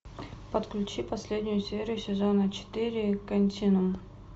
подключи последнюю серию сезона четыре континуум